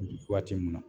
Waati mun na